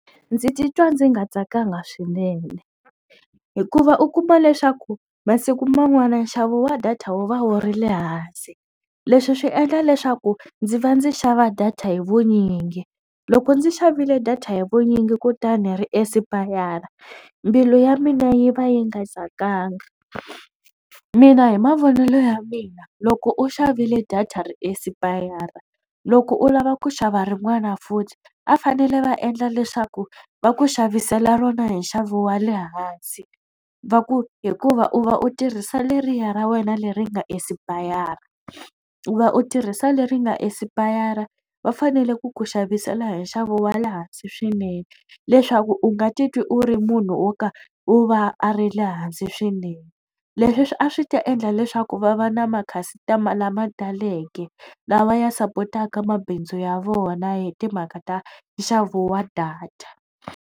Ndzi titwa ndzi nga tsakanga swinene hikuva u kuma leswaku masiku man'wana nxavo wa data wu va wu ri le hansi leswi swi endla leswaku ndzi va ndzi xava data hi vunyingi loko ndzi xavile data hi vunyingi kutani ri esipayara mbilu ya mina yi va yi nga tsakanga mina hi mavonelo ya mina loko u xavile data ri esipayara loko u lava ku xava rin'wana futhi a fanele va endla leswaku va ku xavisela rona hi nxavo wa le hansi va ku hikuva u va u tirhisa leriya ra wena leri nga esipayara u va u tirhisa leri nga esipayara va fanele ku ku xavisela hi nxavo wa le hansi swinene leswaku u nga titwi u ri munhu wo ka u va a ri le hansi swinene leswi a swi ta endla leswaku va va na ma-customer lamataleke lawa ya sapotaka mabindzu ya vona hi timhaka ta nxavo wa data.